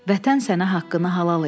Vətən sənə haqqını halal eləyib.